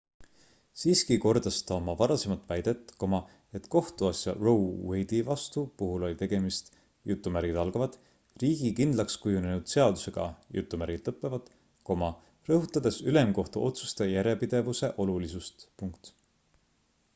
siiski kordas ta oma varasemat väidet et kohtuasja roe wade'i vastu puhul oli tegemist riigi kindlakskujunenud seadusega rõhutades ülemkohtu otsuste järjepidevuse olulisust